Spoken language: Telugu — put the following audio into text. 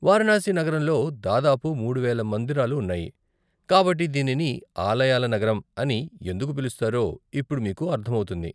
వారణాసి నగరంలో దాదాపు మూడు వేల మందిరాలు ఉన్నాయి, కాబట్టి, దీనిని 'ఆలయాల నగరం' అని ఎందుకు పిలుస్తారో ఇప్పుడు మీకు అర్థమవుతుంది.